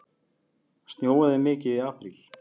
Snjóaði mikið í apríl?